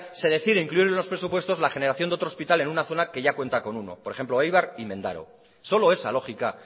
se decide incluir en los presupuestos la generación de otro hospital en una zona que ya cuenta con uno por ejemplo eibar y mendaro solo esa lógica